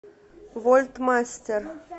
вольтмастер